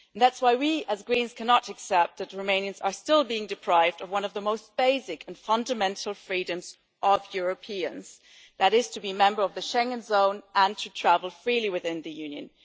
That's why we as Greens cannot accept that Romanians are still being deprived of one of the most basic and fundamental freedoms of Europeans that is, to be a member of the Schengen zone and to travel freely within the Union.